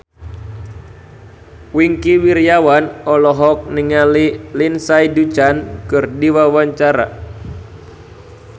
Wingky Wiryawan olohok ningali Lindsay Ducan keur diwawancara